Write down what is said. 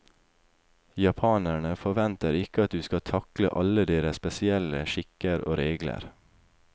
Japanerne forventer ikke at du skal takle alle deres spesielle skikker og regler.